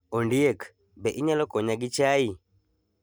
Ondiek, be inyalo konya gi chai?